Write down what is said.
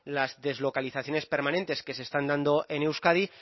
las deslocalizaciones permanentes que se están dando en euskadi